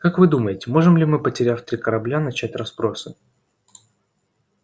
как вы думаете можем ли мы потеряв три корабля начать расспросы